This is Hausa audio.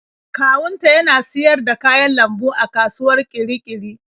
Kawunta yana siyar da kayan lambu a kasuwar Kirikiri.